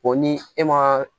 O ni e ma